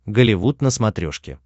голливуд на смотрешке